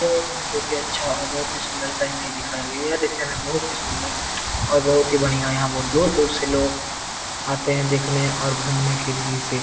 यह काम बहुत ही अच्छा और बहुत ही सुन्दर सा हमें दिखाया गया है ये देखने में बहुत ही सुन्दर और बहुत ही बढ़िया और यहाँ बहुत दूर-दूर से लोग आते हैं देखने और घूमने के लिए इसे --